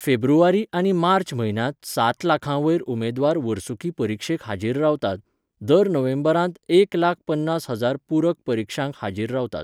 फेब्रुवारी आनी मार्च म्हयन्यांत सात लाखां वयर उमेदवार वर्सुकी परिक्षेक हाजीर रावतात, दर नोव्हेंबरांत एक लाख पन्नास हजार पुरक परिक्षांक हाजीर रावतात.